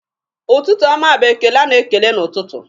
Ụtụtụ ọma bụ ekele a na-ekele n'ụtụtụ.